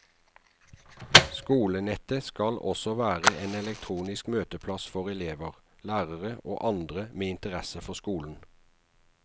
Skolenettet skal også være en elektronisk møteplass for elever, lærere og andre med interesse for skolen.